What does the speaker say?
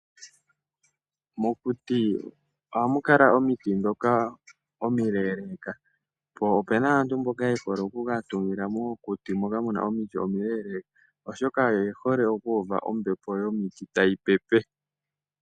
Mokuti ohamu kala omiti ndhoka omileleka po ope na aantu mboka yehole oku ka tungila mokuti moka mu na omiti omile, oshoka oye hole oku uva ombepo yomiti tayi pepe.